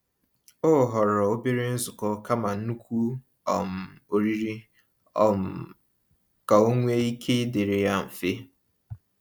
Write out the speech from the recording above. O họrọ obere nzukọ kama nnukwu um oriri um ka ọnwe ike ịdịrị ya mfe.